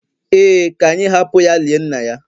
Ee, ka anyị hapụ ya lie nna ya